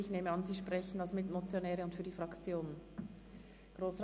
Ich nehme an, dass Sie als Mitmotionäre und für die Fraktion sprechen.